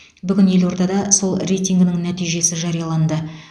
бүгін елордада сол рейтингінің нәтижесі жарияланды